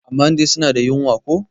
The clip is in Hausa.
amma dai suna da wunya ko?